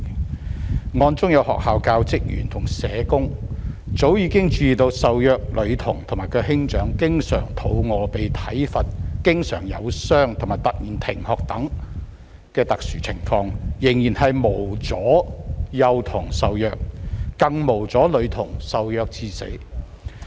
在這宗案件中，雖然學校教職員和社工早已注意到受虐女童和兄長經常挨餓、被體罰、受傷及突然停學等特殊情況，但仍然無阻幼童受虐，更無阻女童受虐至死。